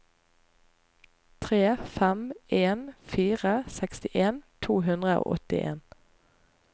tre fem en fire sekstien to hundre og åttien